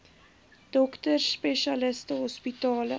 dokters spesialiste hospitale